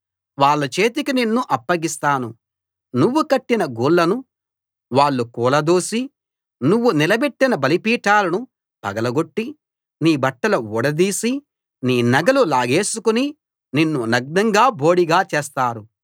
వాళ్ళ చేతికి నిన్ను అప్పగిస్తాను నువ్వు కట్టిన గుళ్లను వాళ్ళు కూలదోసి నువ్వు నిలబెట్టిన బలిపీఠాలను పగల గొట్టి నీ బట్టలు ఊడదీసి నీ నగలు లాగేసుకుని నిన్ను నగ్నంగా బోడిగా చేస్తారు